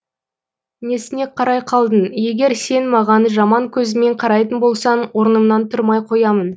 несіне қарай қалдың егер сен маған жаман көзіңмен қарайтын болсаң орнымнан тұрмай қоямын